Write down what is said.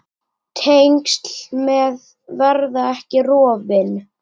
Tengsl sem verða ekki rofin.